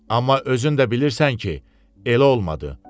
Amma özün də bilirsən ki, elə olmadı.